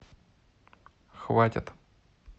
хватит